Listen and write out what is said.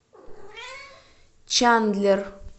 чандлер